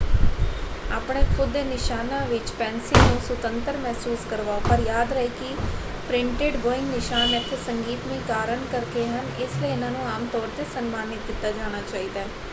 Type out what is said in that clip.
ਆਪਣੇ ਖੁਦ ਦੇ ਨਿਸ਼ਾਨਾਂ ਵਿੱਚ ਪੈੱਨਸਿਲ ਨੂੰ ਸੁਤੰਤਰ ਮਹਿਸੂਸ ਕਰਵਾਓ ਪਰ ਯਾਦ ਰਹੇ ਕਿ ਪ੍ਰਿੰਟਡ ਬੋਇੰਗ ਨਿਸ਼ਾਨ ਇੱਥੇ ਸੰਗੀਤਮਈ ਕਾਰਨ ਕਰਕੇ ਹਨ ਇਸ ਲਈ ਇਹਨਾਂ ਨੂੰ ਆਮ ਤੌਰ 'ਤੇ ਸਨਮਾਨਿਤ ਕੀਤਾ ਜਾਣਾ ਚਾਹੀਦਾ ਹੈ।